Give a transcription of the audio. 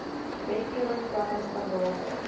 wetgewing planne standaarde